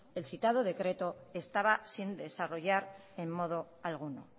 el citado decreto se estaba sin desarrollar en modo alguno